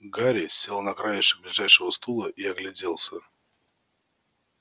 гарри сел на краешек ближайшего стула и огляделся